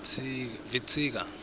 vitsika